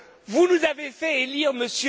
a raison. Vous nous avez fait